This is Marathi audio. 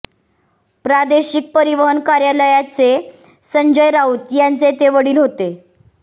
प्रादेशिक परिवहन कार्यालयाचे संजय राऊत यांचे ते वडील होते